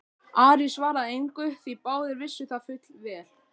Ari svaraði engu því báðir vissu það fullvel.